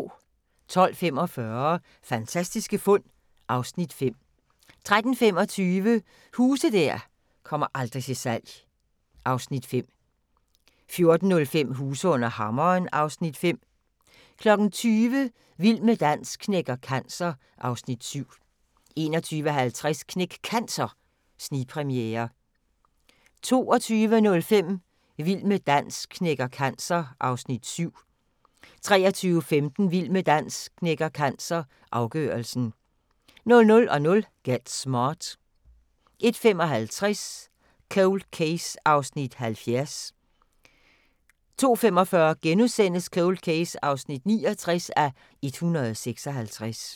12:45: Fantastiske fund (Afs. 5) 13:25: Huse der aldrig kommer til salg (Afs. 5) 14:05: Huse under hammeren (Afs. 5) 20:00: Vild med dans knækker cancer (Afs. 7) 21:50: Knæk Cancer snigpremiere 22:05: Vild med dans knækker cancer (Afs. 7) 23:15: Vild med dans knækker cancer – afgørelsen 00:00: Get Smart 01:55: Cold Case (70:156) 02:45: Cold Case (69:156)*